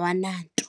yama-1980.